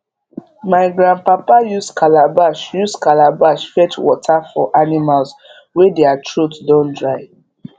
my grandpapa use calabash use calabash fetch water for animals wey dere throat don dry